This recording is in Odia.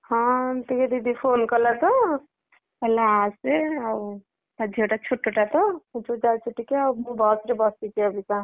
ହଁ ଏମିତି ଟିକେ ଦିଦି phone କଲା ତ କହିଲା ଆସେ ଆଉ ତା ଝିଅଟା ଛୋଟଟା ତ ସେଠୁ ଯାଉଚି ଟିକେ ଆଉ ବସ ରେ ବସିଚି ଅବିକା।